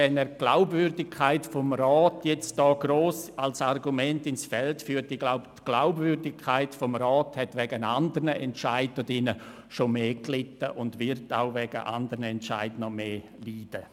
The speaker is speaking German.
Wenn er hier jetzt gross die Glaubwürdigkeit des Rats als Argument ins Feld führt – ich glaube, die Glaubwürdigkeit des Rats hat wegen anderen Entscheiden, die hier gefällt wurden, schon mehr gelitten und wird auch wegen anderen Entscheiden noch mehr leiden.